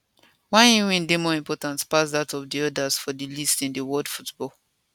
wey im win dey more important pass dat of di odas for di list in world football